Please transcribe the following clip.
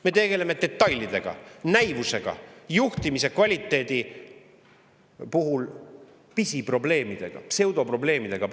Me tegeleme praeguses kriitilises olukorras detailidega, näivusega, juhtimise kvaliteedi pisiprobleemidega, pseudoprobleemidega.